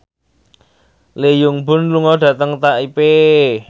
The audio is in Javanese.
Lee Byung Hun lunga dhateng Taipei